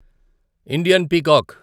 Indian peacock